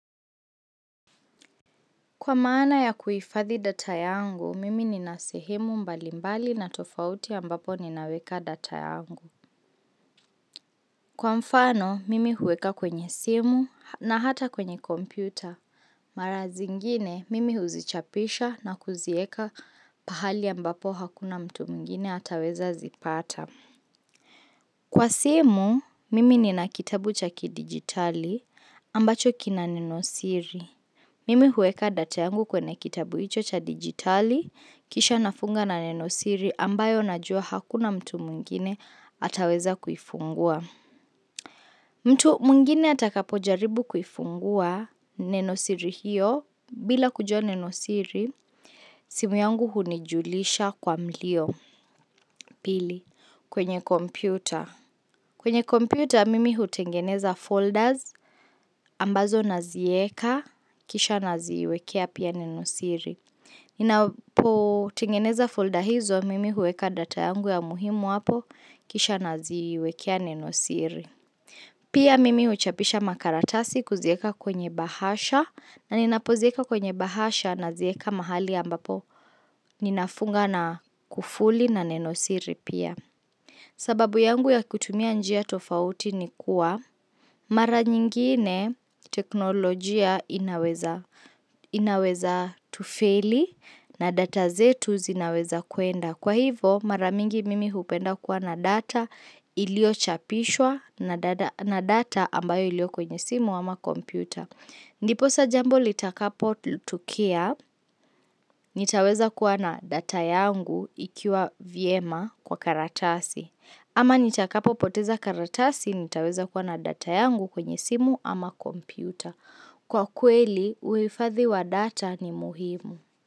Kwa maana ya kuhifadhi data yangu, mimi nina sehemu mbalimbali na tofauti ambapo ninaweka data yangu. Kwa mfano, mimi huweka kwenye simu na hata kwenye kompyuta. Marazi ngine, mimi huzichapisha na kuzieka pahali ambapo hakuna mtu mwingine ataweza zipata. Kwa simu, mimi nina kitabu cha ki digitali ambacho kina nenosiri. Mimi huweka data yangu kwenye kitabu hicho cha digitali, kisha nafunga na nenosiri ambayo najua hakuna mtu mwingine ataweza kuifungua. Mtu mwingine atakapo jaribu kuifungua nenosiri hiyo, bila kujua nenosiri, simu yangu hunijulisha kwa mlio. Pili, kwenye kompyuta. Kwenye kompyuta mimi hutengeneza folders ambazo nazieka, kisha naziwekea pia nenosiri. Ninapo tengeneza folder hizo mimi huweka data yangu ya muhimu hapo kisha naziwekea nenosiri Pia mimi huchapisha makaratasi kuzieka kwenye bahasha na ninapozieka kwenye bahasha nazieka mahali ambapo ninafunga na kufuli na nenosiri pia sababu yangu ya kutumia njia tofauti ni kuwa mara nyingine teknolojia inaweza tufeli na data zetu zinaweza kuenda. Kwa hivo mara mingi mimi hupenda kuwa na data iliyochapishwa na data ambayo iliyo kwenye simu ama kompyuta. Ndiposa jambo litakapo tokea, nitaweza kuwa na data yangu ikiwa vyema kwa karatasi. Ama nitakapo poteza karatasi, nitaweza kuwa na data yangu kwenye simu ama kompyuta. Kwa kweli, uifadhi wa data ni muhimu.